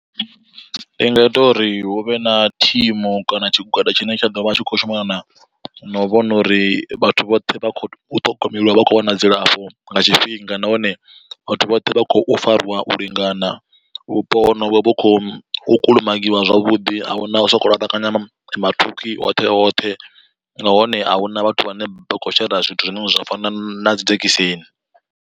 Ndi nga ita uri hu vhe na thimu kana tshigwada tshine tsha ḓo vha tshi kho shumana na na u vhona uri vhathu vhoṱhe vha kho u ṱhogomeliwa vha khou wana dzilafho nga tshifhinga, nahone vhathu vhoṱhe vha khou fariwa u lingana vhupo honovho vhu khou kulumagiwa zwavhuḓi ahuna u sokou laṱwakanya mathukhwi hoṱhe hoṱhe, nahone a huna vhathu vhane vha khou shera zwithu zwine zwa fana na dzi dzhekiseni.